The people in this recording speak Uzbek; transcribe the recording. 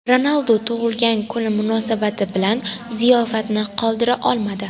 Ronaldu tug‘ilgan kuni munosabati bilan ziyofatni qoldira olmadi.